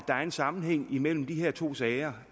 er en sammenhæng imellem de to sager